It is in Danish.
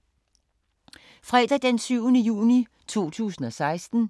Fredag d. 17. juni 2016